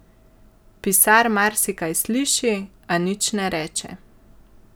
Pisar marsikaj sliši, a nič ne reče.